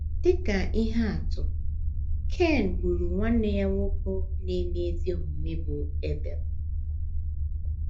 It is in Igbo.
Dị ka ihe atụ, Ken gburu nwanne ya nwoke na - eme ezi omume bụ́ Ebel.